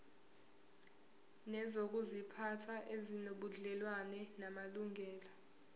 nezokuziphatha ezinobudlelwano namalungelo